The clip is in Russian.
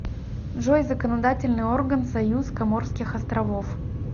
джой законодательный орган союз коморских островов